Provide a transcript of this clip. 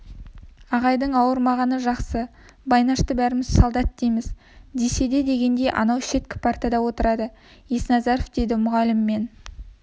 ағайдың ауырмағаны жақсы байнашты бәріміз солдат дейміз десе дегендей анау шеткі партада отырады есназаров дейді мұғалім мен